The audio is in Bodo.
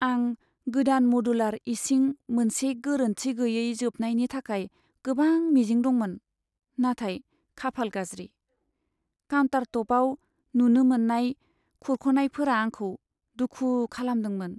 आं गोदान मडुलार इसिं मोनसे गोरोन्थि गैयै जोबनायनि थाखाय गोबां मिजिं दंमोन, नाथाय खाफाल गाज्रि, काउन्टारटपआव नुनो मोन्नाय खुरख'नायफोरा आंखौ दुखु खालामदोंमोन।